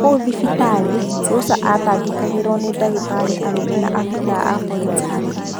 Kũu thibitarĩ, Rosa atangĩkagĩrwo nĩ ndagitarĩ arũme na abithaa a borithi arũme.